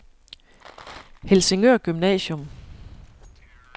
Helsingør Gymnasium